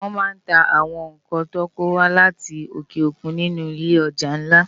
Wòn má n tá áwòn nkán tò kówá láti óké ókún ninú ilé òjá nlá